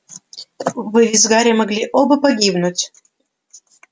вы ведь с гарри могли оба погибнуть